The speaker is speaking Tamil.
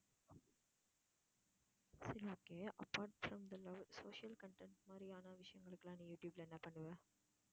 சரி okay apart from the love social contents மாதிரியான விஷயங்களுக்கு எல்லாம் நீ யூடியூப்ல என்ன பண்ணுவ